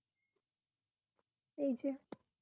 এই যে